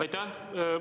Aitäh!